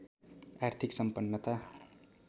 आर्थिक सम्पन्नता